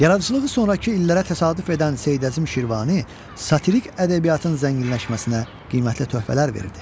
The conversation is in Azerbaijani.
Yaradıcılığı sonrakı illərə təsadüf edən Seyid Əzim Şirvani satirik ədəbiyyatın zənginləşməsinə qiymətli töhfələr verdi.